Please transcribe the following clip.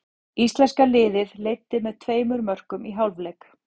Íslenska liðið leiddi með tveimur mörkum í hálfleik.